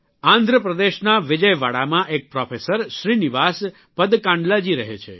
આંધ્રપ્રદેશના વિજયવાડામાં એક પ્રોફેસર શ્રીનિવાસ પદકાંડલા જી રહે છે